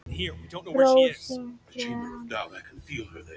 Rósinkrans